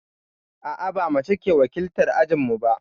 A'a, ba mace ke wakiltar ajinmu ba.